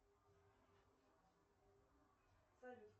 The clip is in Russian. салют